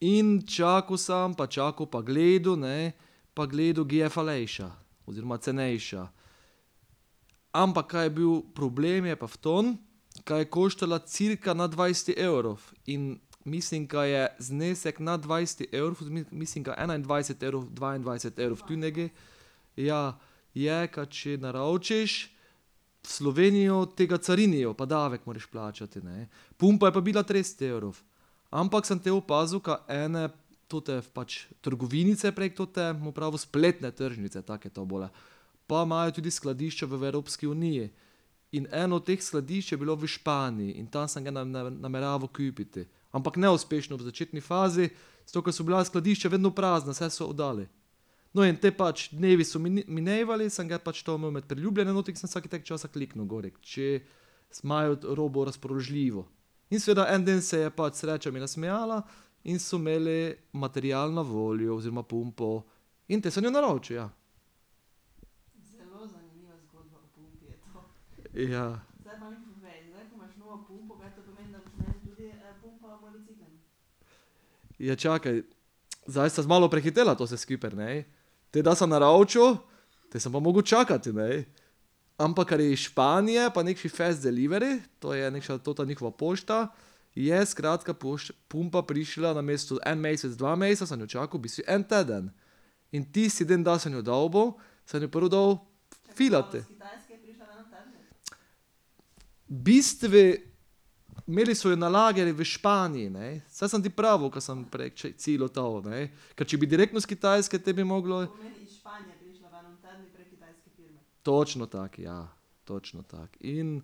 In čakal sem pa čakal pa gledal, ne, pa gledal, ge je falejša oziroma cenejša. Ampak kaj je bil problem, je pa v tem, ka je koštala cirka nad dvajset evrov. In mislim, ka je znesek nad dvajset mislim, da enaindvajset evrov, dvaindvajset evrov, tu nekaj, ja, je, kaj če naročiš v Slovenijo, ti ga carinijo pa davek moraš plačati, ne. Pumpa je pa bila trideset evrov. Ampak sem te opazil, ka ene tote pač trgovinice prek tote, bom pravil, spletne tržnice, tako je to bolje, pa imajo tudi skladišče v Evropski uniji. In eno teh skladišč je bilo v Španiji in tam sem ga nameraval kupiti. Ampak neuspešno v začetni fazi, zato ke so bila skladišča vedno prazna, vse so oddali. No, in te pač dnevi so minevali in sem ga pač to imel med priljubljeno not in sem vsak tako časa kliknil gorika, če imajo robo razpoložljivo. In seveda en dan se je pač sreča mi nasmejala in so imeli material na voljo oziroma pumpo. In te sem jo naročil, ja. Ja. Ja, čakaj. Zdaj sva malo prehitela zdaj to vse skupaj, ne? Te da sem naročil, te sem pa mogel čakati, ne. Ampak ker je iz Španije pa nekši fast delivery, to je nekša tota njihova pošta, je skratka pumpa prišla namesto en mesec, dva meseca, sem jo čakal v bistvu en teden. In tisti dan, da sem jo dobil, sem jo prvo dal filati. V bistvu imeli so jo na lagerju v Španiji, ne, saj sem ti pravil, ke sem prej ciljal to, ne. Ker če bi direkt bilo s Kitajske, potem bi moglo ... Točno tako, ja, točno tako. In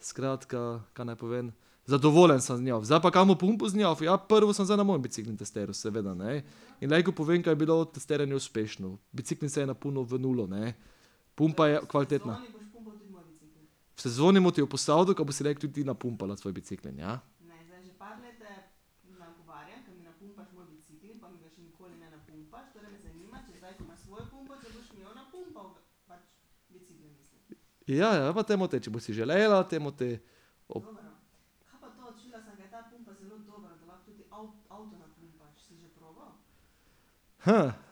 skratka, ka naj povem, zadovoljen sem z njo, zdaj pa kaj bom pumpal z njo, ja, prvo sem zdaj na moj bicikel testiral seveda, ne. In lejko povem, ka je bilo testiranje uspešno. Bicikel se je napolnil v nulo, ne. Pumpa je kvalitetna. V sezoni bom ti jo posodil, ka boš si lejko tudi ti napumpala svoj bicikel, ja. Ja, ja, pa te bomo te, če boš si želela, te bomo te ...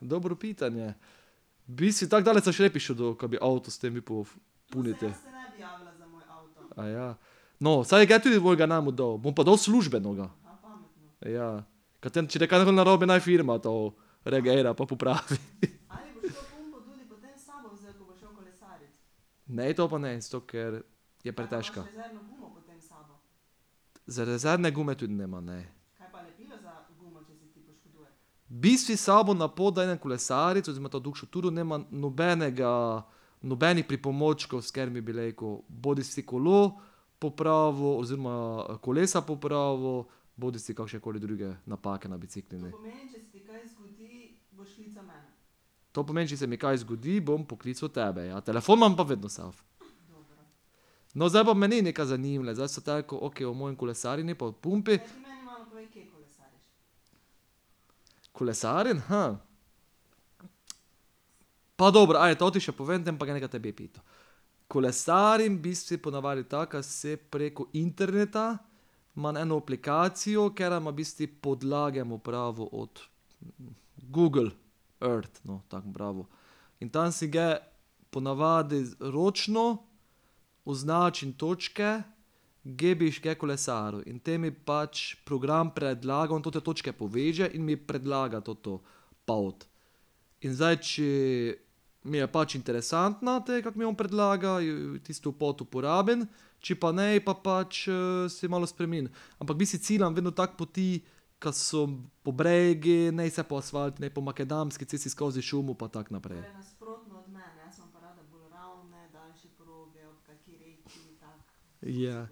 dobro pitanje. V bistvu tako daleč sem še ne prišel do, ka bi avto s tem upal polniti. No, saj ga tudi mojega nam oddal. Bom pa dal službenega. Ja, kaj te, narobe, naj firma to reagira pa popravi . Ne, to pa ne, zato ker je pretežka. Za rezervne gume tudi nima ne. V bistvu sabo na pot, da idem kolesarit oziroma to daljšo turo, nimam nobenega, nobenih pripomočkov, s katerimi bi lejko bodisi kolo popravil oziroma kolesa popravil bodisi kakšne koli druge napake na biciklu, ne. To pomeni, če se mi kaj zgodi, bom poklical tebe, ja, telefon imam pa vedno No, zdaj pa mene nekaj zanima, zdaj s teko, o mojem kolesarjenju pa o pumpi ... Kolesarim, Pa dobro, to ti še povem, te pa bom ge neke tebe pital. Kolesarim v bistvu ponavadi tako, ka se preko interneta imam eno aplikacijo, katera ima v bistvu podlage, bom pravil, od Google Earth, no, tako bom pravil. In tam si ge ponavadi z ročno označim točke, ge bi še kaj kolesaril, in te mi pač program predlagal, on te točke poveže in mi predlagal toto pot. In zdaj če mi je pač interesantna te, kak mi on predlaga, jo tisto pot uporabim, če pa ne, pa pač si malo ampak v bistvu ciljam vedno tako poti, kaj so po bregu, niso po asfaltu, po makadamski cesti, skozi šumo pa tako naprej. Ja.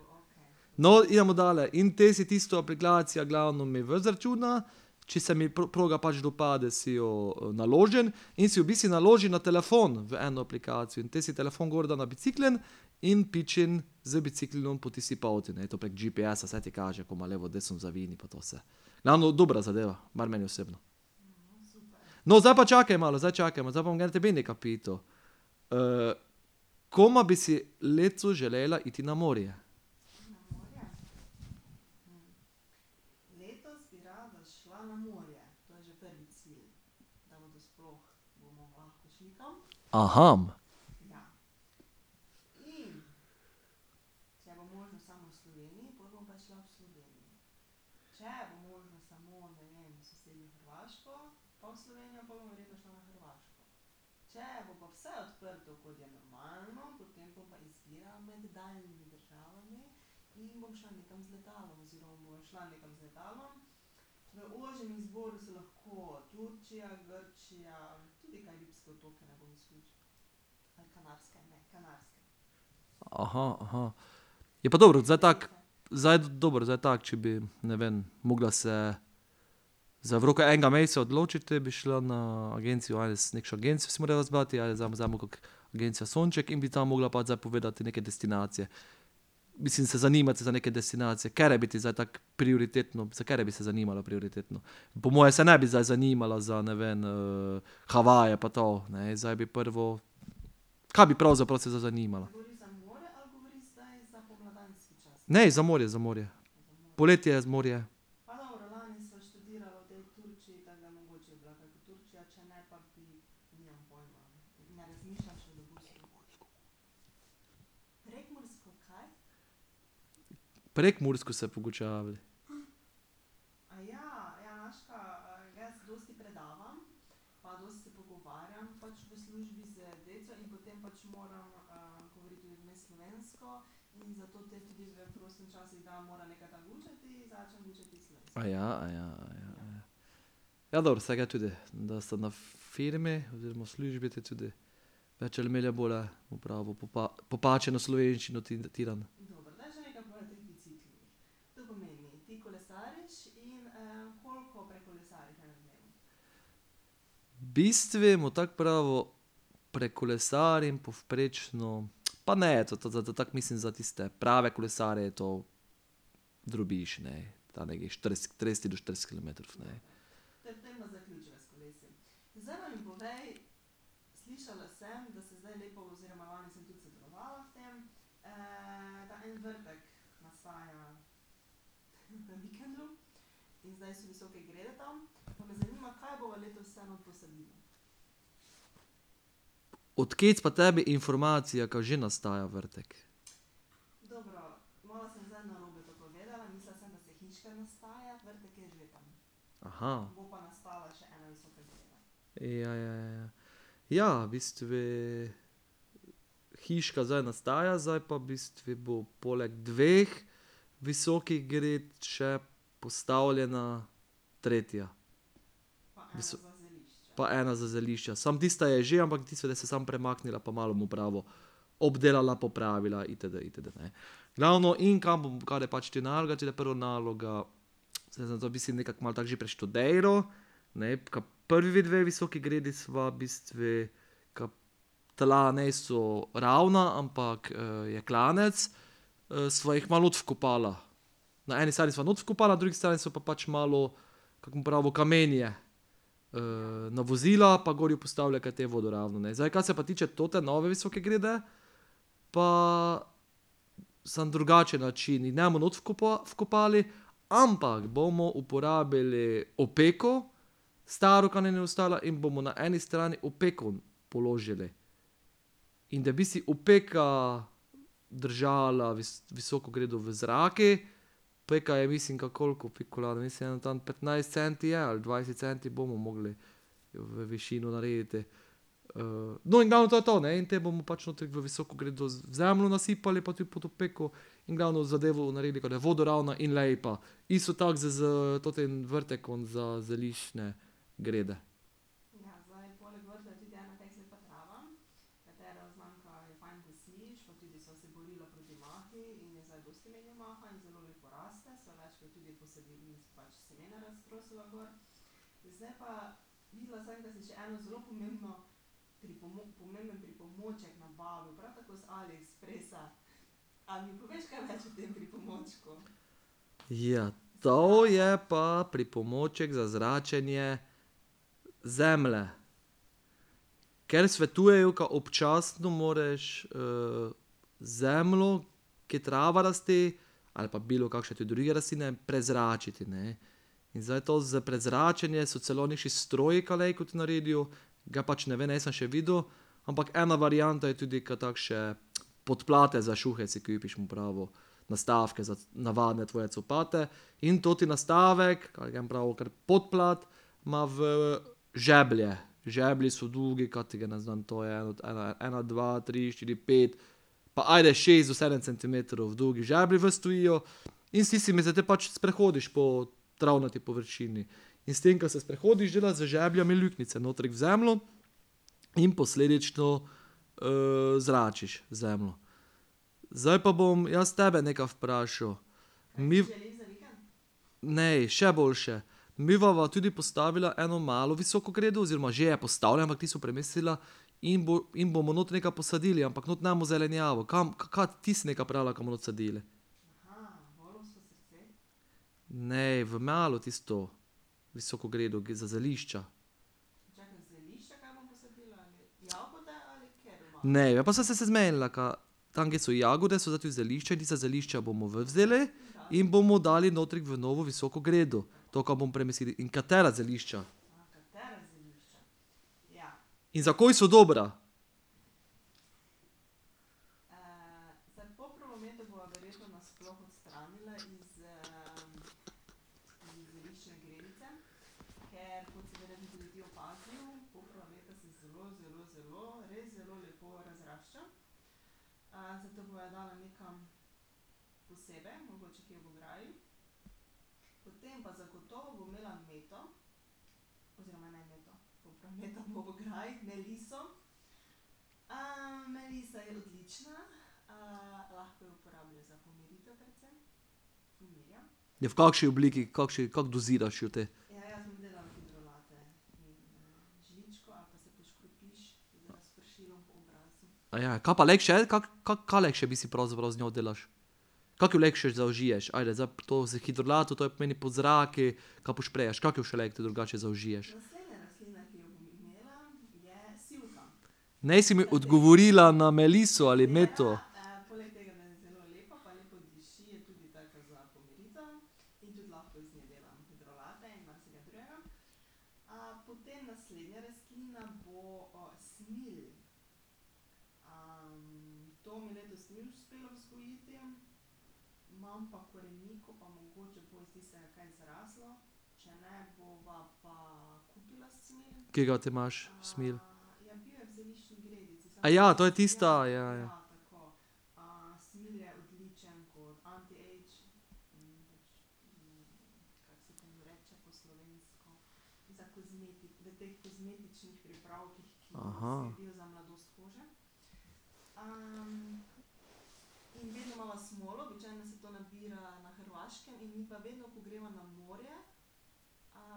No, idemo dalje, in te si tisto aplikacija, glavno mi ven izračuna, če se mi proga pač dopade, si jo naložim, in si v bistvu naložim na telefon v eno aplikacijo in te si telefon gor dam na bicikel, in pičim z biciklom po tisti poti, ne, to je pa GPS, vse ti kaže, pa na levo, desno zavij, pa to vse. Glavno, dobra zadeva, mar meni osebno. No, zdaj pa čakaj malo, zdaj čakaj, ma zdaj bom jaz tebi nekaj pital. koma bi si letos želela iti na morje? Je pa dobro, zdaj tako, zdaj, dobro zdaj tako, če bi, ne vem, mogla se za v roku enega meseca odločiti, te bi šla na agencijo nekšo agencijo bi si morala izbrati, ali kako, Agencija Sonček, in bi tam mogla pač zdaj povedati neke destinacije. Mislim, se zanimati za neke destinacije, katere bi ti zdaj tako prioritetno, za katere bi se zanimala prioritetno? Po moje se ne bi zdaj zanimala za, ne vem, Havaje pa to, ne, zdaj bi prvo ... Kaj bi pravzaprav se zdaj zanimala? Ne, za morje, za morje. Poletje, morje. Prekmursko se pogučavaj. Ja, dobro, se ge tudi, da so na firmi oziroma v službi te tudi popačeno slovenščino . V bistvu, bom tako pravil, prekolesarim povprečno , pa ne, to tako mislim za tiste prave kolesarje je to drobiž, ne. Tam nekih štirideset, trideset do štirideset kilometrov, ne. Od pa tebi informacija, ka že nastaja vrtek? Ja, ja, ja. Ja, v bistvu hiška zdaj nastaja, zdaj pa v bistvu bo poleg dveh visokih gred še postavljena tretja. Pa ena za zelišča, samo tista je že, ampak tisto da se samo premaknila, pa malo bom pravil. Obdelala, popravila itd., itd. Glavno, in kar je pač te naloge, če te prva naloga, saj zato bi si nekako malo tako že preštudiral, ne, ka prvi dve visoki gredi sva v bistvu, ka tla niso ravna, ampak je klanec, sva jih malo not vkopala. Na eni strani sva noter vkopala, na drugi strani so pa pač malo, bom pravil, kamenje navozila, pa gori postavila, ka je te vodoravno, zdaj kaj se pa tiče tote nove visoke grede, pa samo drugačen način in ne bo not vkopali, ampak bomo uporabili opeko, staro, ka nam je ostala, in bomo na eni strani opeko položili. In da v bistvu opeka držala visoko gredo v zraku, opeka je, mislim, ka koliko , mislim ene, tam petnajst centi je ali dvajset centi bomo mogli v višino narediti. no, in ja, to je to, ne, in te bomo pač toti v visoko gredo zemljo nasipali pa tu pod opeko in glavno zadevo naredili, ka da vodoravna in lepa. Isto tako s, s totim vrtekom za zeliščne grede. Ja, to je pa pripomoček za zračenje zemlje. Ker svetujejo, ka občasno moraš zemljo, ki trava raste ali pa bilo kakše tudi druge rastline, prezračiti, ne. In zdaj to za prezračenje so celo nekši stroji, ka lejko to naredijo, ga pač ne vem, nisem še videl, ampak ena varianta je tudi, ka takše podplate za šuhe si kupiš, bom pravil, nastavke za navadne tvoje copate. In toti nastavek, ke ja bom pravil kar podplat, ima v žeblje, žeblji so dugi, ka ti ga ne znam, to je od ene, ena, dva, tri, štiri, pet, pa ajde, šest do sedem centimetrov dolgi žeblji ven stojijo, in s tistimi se te pač sprehodiš po travnati površini. In s tem, ka se sprehodiš, delaš z žeblji luknjice notri v zemljo in posledično zračiš zemljo. Zdaj pa bom jaz tebe nekaj vprašal. ... Ne, še boljše. Midva bova tudi postavila eno malo visoko gredo oziroma že je postavljena, ampak ti si sva premislila, in bo, in bomo notri nekaj posadili, ampak not ne bomo zelenjavo, kam, kak ti si nekaj pravila, ka bomo not sadili. Ne, v malo, tisto visoko gredo, ge je za zelišča. Ne, ja pa saj sva se zmenila, ka tam, ke so jagode, so zdaj tu zelišča in tista zelišča bomo ven vzeli in bomo dali notri v novo visoko gredo, to, ka bomo premislili, in katera zelišča. In za koj so dobra. Ja, v kakšni obliki, kakšni, kako doziraš jo te? kaj pa lejko še? kaj lahko še v bistvu pravzaprav z njo delaš? Kako jo lejko še zaužiješ? Ajde, zdaj to za hidrolat, to pomeni po zraku, ka posprejaš, kako jo še lejko tudi drugače zaužiješ? Nisi mi odgovorila na meliso ali meto. Ke ga ti imaš, smilj? to je tista, ja, ja.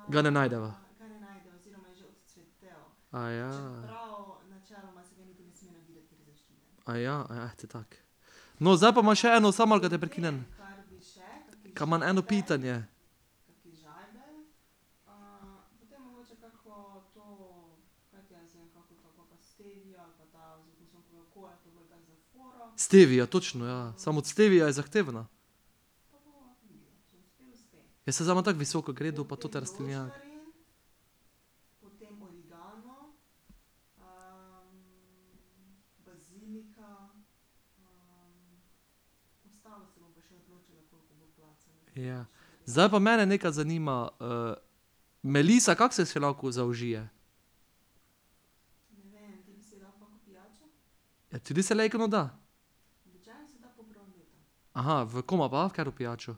Ga ne najdeva. ... eh te tako. No, zdaj pa imam še eno, samo malo, ka te prekinem ... Ka imam eno pitanje. Stevia, točno, ja, samo stevia je zahtevna. Ja, samo imam zdaj tako visoko gredo pa toti rastlinjak. Ja. Zdaj pa mene nekaj zanima, melisa, kako se še lahko zaužije? Tudi se lejko not da? v koma pa, v katero pijačo?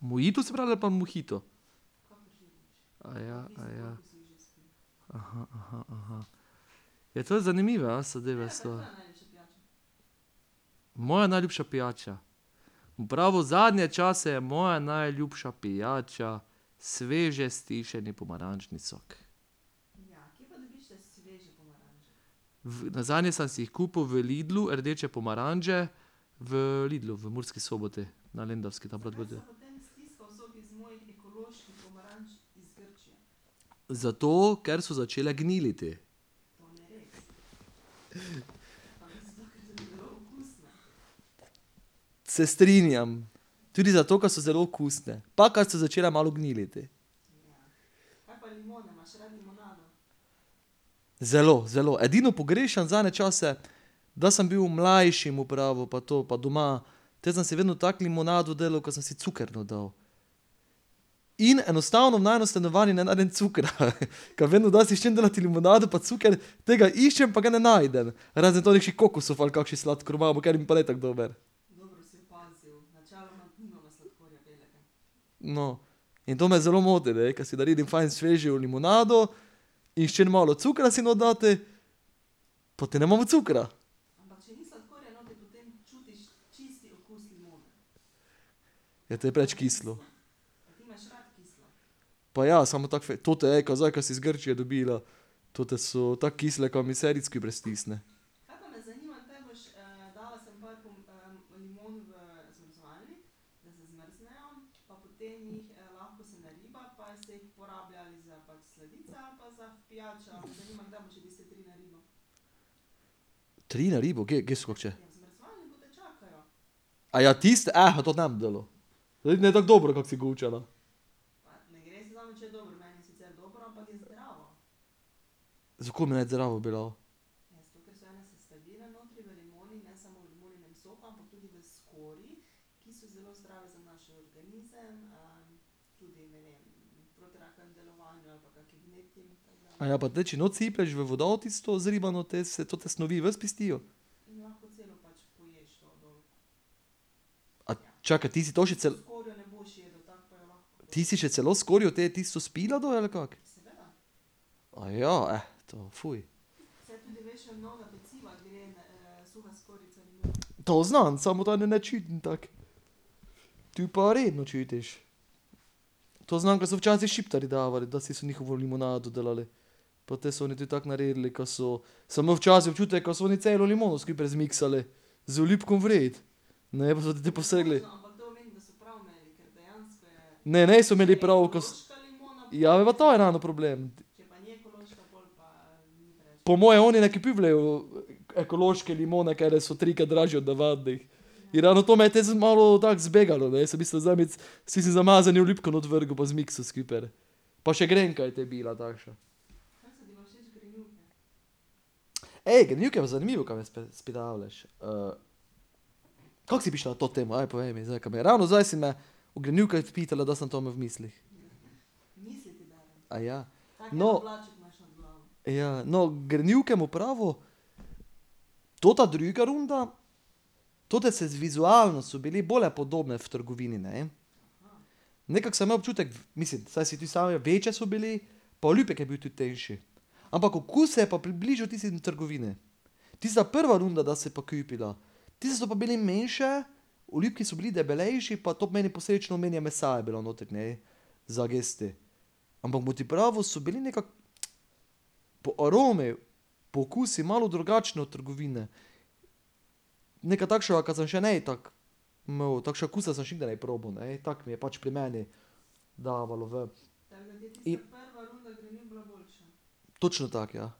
mojito se pravi, da, ali pa mohito? Ja, to je zanimivo, zadeve so. Moja najljubša pijača? Bom pravil, zadnje čase je moja najljubša pijača sveže stisjeni pomarančni sok. nazadnje sem si jih kupil v Lidlu, rdeče pomaranče, v Lidlu v Murski Soboti, na Lendavski, tam . Zato, ker so začele gniliti. Se strinjam, tudi zato, ka so zelo okusne, pa ka so začele malo gniliti. Zelo, zelo, edino pogrešam zadnje čase, da sem bil mlajši, bom pravil, pa to, pa doma, te sem si vedno tako limonado delal, ker sem si cuker not dal. In enostavno, v najinem stanovanju ne najdem cukra, . Ka vedno, da si hočem delati limonado, pa cuker, te ga iščem, pa ga ne najdem. Razen to nekših kokosov pa ali kakšen sladkor imamo, kateri mi pa ne tako dober. No, in to me zelo moti, ne, ker si naredim fajn svežo limonado in hočem malo cukra si not dati, pa te nimamo cukra. Ja, to je preveč kislo. Pa ja, samo tako tote, ej, kaj zdaj, ko si z Grčije dobila, tote so tako kisle, kaj mi vse rit skupaj stisne. tiste, tote ne bom delal. Zdaj mi je tako dobro, kak si gučala. Zakaj me ne bi zraven bilo? pa te, če not siplješ v vodo tisto zribano, te se tote snovi ven spustijo? čakaj, ti si to že celo ... Ti si še celo skorjo te tisto spila dol, ali kako? to, To znam, samo tako. Tu pa redno čutiš. To znam, ke so včasih Šiptarji davali, dasi so njihovo limonado delali. Pa te so oni tudi tako naredili, ka so ... Sem imel včasih občutek, ka so oni celo limono skupaj zmiksali. Z olupkom vred. Ne, niso imeli pravi, ka ... Ja, pa to je ravno problem. Po moje oni ne kupujejo ekološke limone, katere so trikrat dražje od navadnih. In ravno to me je te malo tako zbegalo, ne, jaz v bistvu si si z umazanim olupkom not vrgel pa zmiksal skupaj. Pa še grenka je te bila takša. zanimivo, ka me izpitavljaš, Kako si prišla na to temo, povej mi, zdaj, ka bi, ravno zdaj si me o grenivkah pitala, da sem to imel v mislih. No ... Ja, no, grenivke, bom pravil, tota druga runda, tote se z vizualno, so bile bolj podobne v trgovini, ne. Nekako sem imel občutek, mislim, saj , večje so bile, pa olupek je bil tudi tanjši. Ampak okus se je pa približal tisti od trgovine. Tista prva runda, da si pa kupila, tisto so pa bili manjše, olupki so bili debelejši, pa to pomeni posledično, manj je mesa bilo notri, ne, za jesti. Ampak bom ti pravil, so bili nekako po aromi, po okusu malo drugačne od trgovine. Nekaj takšnega, ka sem še ne tako imel, takšnega okusa sem še nikdar ne probal, ne, tako mi je pač pri meni, dajalo ven. Točno tako, ja. .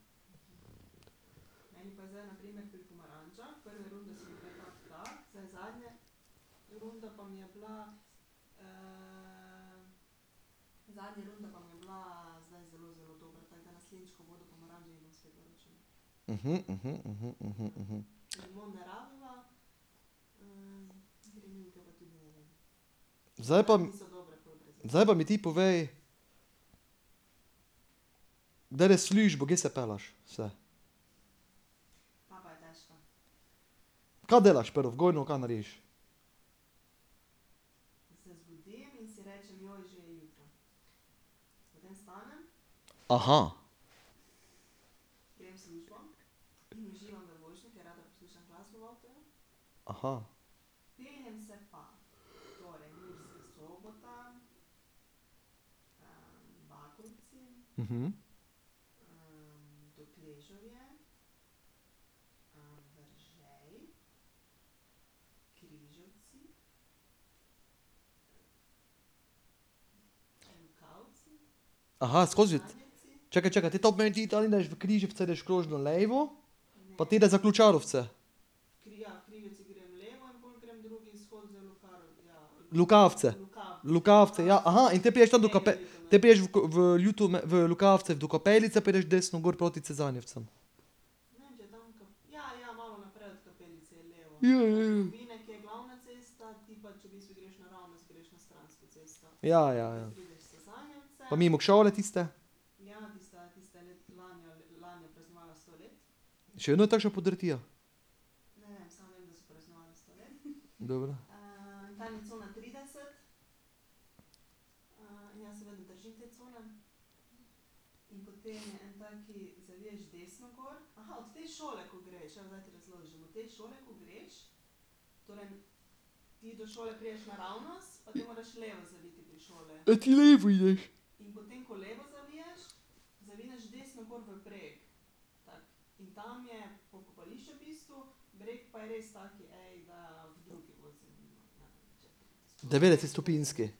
Zdaj pa ... Zdaj pa mi ti povej, da greš v službo, kje se pelješ vse? Kaj delaš prvo , kaj narediš? skozi ... Čakaj, čakaj, te to pomeni, ti tam ideš , ideš krožno levo, pa te da za Ključarovce. Lukavce. Lukavce, ja, in potem prišel to do te prideš v v Lukavce do kapelice, pa ideš desno gor proti Cezanjevcem. Ja, ja, ja. Ja, ja, ja. Pa mimo šole tiste ... Še vedno je takša podrtija? Dobro. Tot levo ideš. Devetdesetstopinjski. ...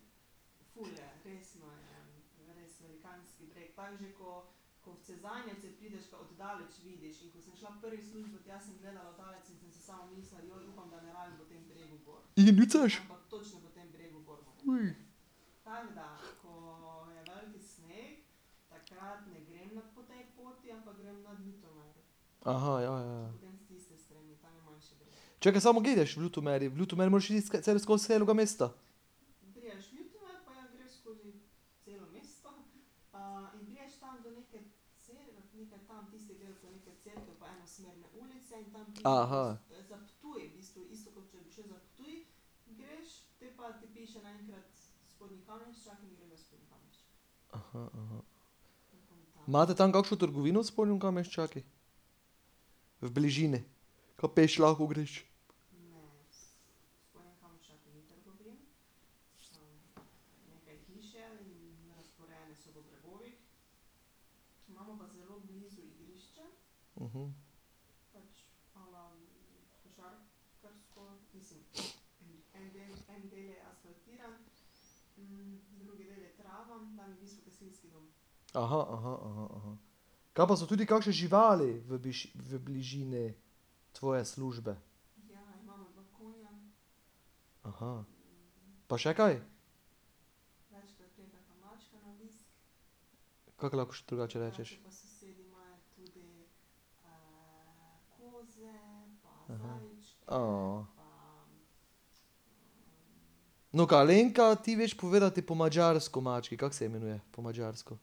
ja, ja, ja. Čakaj, samo ge ideš v Ljutomeru, v Ljutomeru moraš skozi celega mesta. Imate tam kakšo trgovino v Spodnjem Kamenščaku? V bližini, kaj peš lahko greš? Kaj pa so tudi kakše živali v v bližini tvoje službe? Pa še kaj? Kako lahko še drugače rečeš? No, kaj, Alenka, ti veš povedati po madžarsko mački, kako se imenuje po madžarsko?